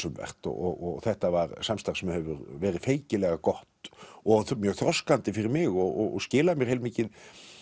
um vert og þetta var samstarf sem hefur verið feikilega gott og mjög þroskandi fyrir mig og skilað mér heilmikið